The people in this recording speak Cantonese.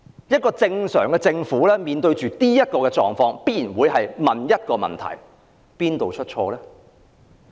一個正常的政府面對這種狀況，必定會問究竟哪裏出錯？